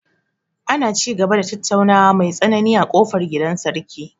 Ana ci gaba da tattaunawa mai tsanani a ƙofar gidan sarki.